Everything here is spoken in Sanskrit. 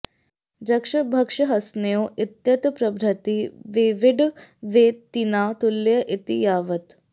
जक्ष भक्षहसन्योः इत्यतः प्रभृति वेवीङ् वेतिना तुल्ये इति यावत्